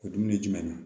O dumuni jumɛn na